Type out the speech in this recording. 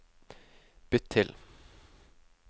bytt til